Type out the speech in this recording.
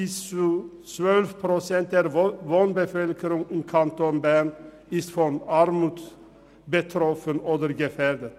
Bis zu 12 Prozent der Wohnbevölkerung im Kanton Bern ist von Armut betroffen oder gefährdet.